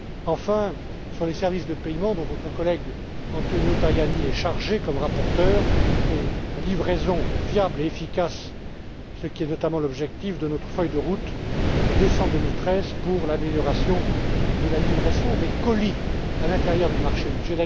Enfin, il y a les services de paiements, dont votre collègue Antonio Tajani est chargé comme rapporteur, et la livraison fiable et efficace, ce qui est notamment l'objectif de notre feuille de route de décembre 2013 pour l'amélioration de la livraison des colis à l'intérieur du marché unique.